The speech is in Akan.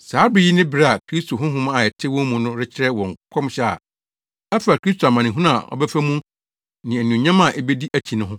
Saa bere yi ne bere a Kristo Honhom a ɛte wɔn mu no rekyerɛ wɔ nkɔmhyɛ a ɛfa Kristo amanehunu a ɔbɛfa mu ne anuonyam a ebedi akyi no ho.